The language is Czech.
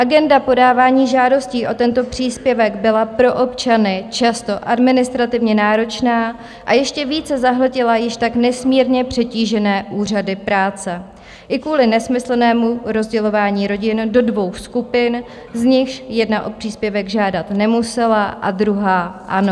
Agenda podávání žádostí o tento příspěvek byla pro občany často administrativně náročná a ještě více zahltila již tak nesmírně přetížené úřady práce i kvůli nesmyslnému rozdělování rodin do dvou skupin, z nichž jedna o příspěvek žádat nemusela a druhá ano.